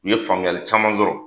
U ye faamuyali caman sɔrɔ